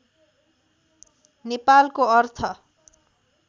नेपालको अर्थ